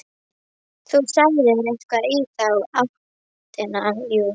Þú sagðir eitthvað í þá áttina, jú.